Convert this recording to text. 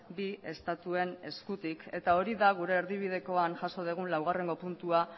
bi estatuen eskutik eta hori da gure erdibidekoan jaso dugun laugarrengo puntua